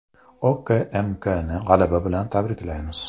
OKMKni g‘alaba bilan tabriklaymiz.